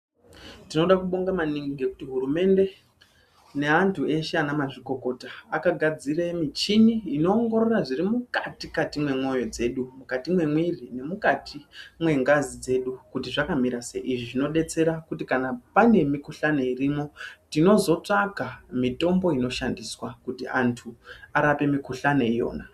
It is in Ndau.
Tinoda kubonga maningi ngekuti hurumende neamtu eshe ana mazvikokota akagadzire michini inoongorora zviri mukati-kati mwemwoyo dzedu. Mukati mwemwiri nemukati mwengazi dzedu kuti zvakamira sei. Izvi zvinobetsera kuti kana pane mikuhlani irimwo tinozotsvaga mitombo inoshandiswa kuti antu arape mukuhlani iyona.